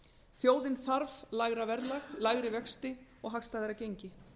þjóðin þarf lægra verðlag lægri vexti og hagstæðara gengi